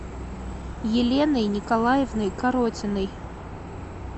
еленой николаевной коротиной